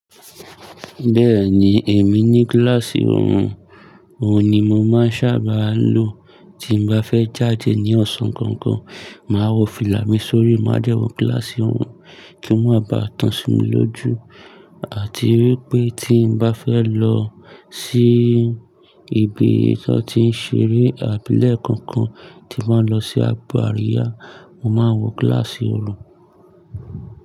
Bẹ́ẹ̀ni èmi ní gíláàsì òòrùn, òun ni mo máa ń sábà lo tí mo bá fẹ́ jáde ní ọ̀sán kankan. Màá wọ fìlà mi sórí, máa dẹ́wọ̀ gíláàsì òòrùn kí ó má bá tán sùn mí lójú àti wípé tí n bá fẹ́ lọ sí ibi tí wón ti ń ṣeré abúlé kankan, tí máa lọ sí agbo àríyá, mo máa wọ gíláàsì òòrùn.